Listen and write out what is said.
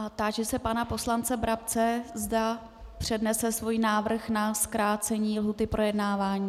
A táži se pana poslance Brabce, zda přednese svůj návrh na zkrácení lhůty k projednávání.